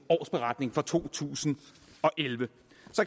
årsberetning fra to tusind og elleve